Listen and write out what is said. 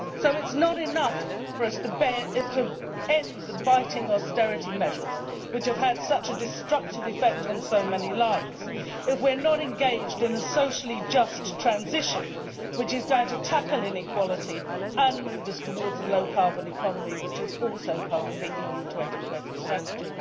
It is not enough for us to end the biting austerity measures which have had such a destructive effect on so many lives if we are not engaged in a socially just transition which is going to tackle inequality and move us towards a low carbon economy, which is also part of the EU 2020 strategy.